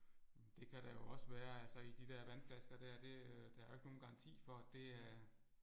Det kan der jo også være altså i de der vandflasker der det der er ikke nogen garanti for at det er